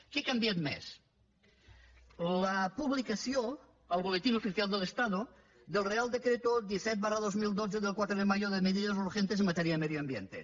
què ha canviat més la publicació al boletín oficial del estado del real decreto disset dos mil dotze del quatre de mayo de medidas urgentes en materia de medio ambiente